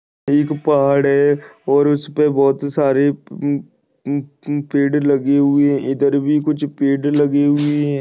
एक पहाड़ है और उसपे बहुत सारे अ अ अ पेड़ लगे हुए है इधर भी कुछ पेड़ लगे हुए है।